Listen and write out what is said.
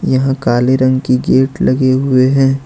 यहां काले रंग की गेट लगे हुए हैं।